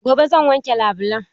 Gobe zan wanke labulan.